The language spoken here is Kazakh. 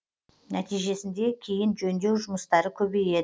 нәтижесінде кейін жөндеу жұмыстары көбейеді